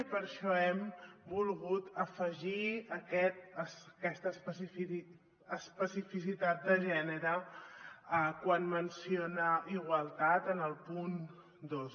i per això hem volgut afegir aquesta especificitat de gènere quan menciona igualtat en el punt dos